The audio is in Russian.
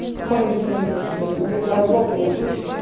какой-нибудь мой зл озлобленный бывший